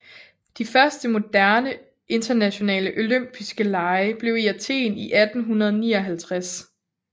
De første moderne internationale olympiske lege blev i Athen i 1859